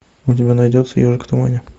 у тебя найдется ежик в тумане